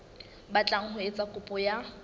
batlang ho etsa kopo ya